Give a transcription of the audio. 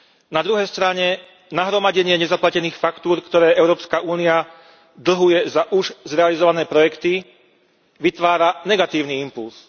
Na druhej strane, nahromadenie nezaplatených faktúr, ktoré Európska únia dlhuje za už zrealizované projekty, vytvára negatívny impulz.